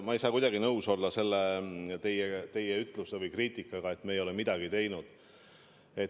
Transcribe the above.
Ma ei saa kuidagi nõus olla teie ütlemise või kriitikaga, et me ei ole midagi teinud.